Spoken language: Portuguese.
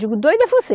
Digo, doido é você.